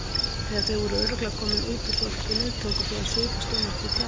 Þegar þau voru örugglega komin út úr þorpinu tóku þau að svipast um eftir tjaldstæði.